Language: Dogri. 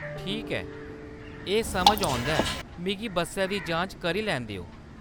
ठीक ऐ, एह्‌‌ समझा औंदा ऐ, मिगी बस्सें दी जांच करी लैन देओ।